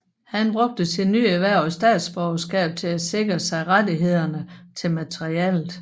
Han brugte sit nyerhvervede statsborgerskab til at sikre sig rettighederne til materialet